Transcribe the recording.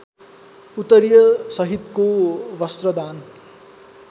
उत्तरीय सहितको वस्त्रदान